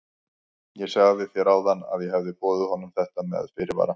Ég sagði þér áðan að ég hefði boðið honum þetta með fyrirvara.